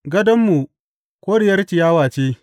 Gadonmu koriyar ciyawa ce.